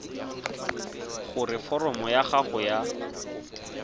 gore foromo ya gago ya